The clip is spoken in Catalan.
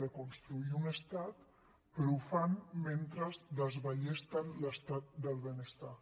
de construir un estat però ho fan mentre desballesten l’estat del benestar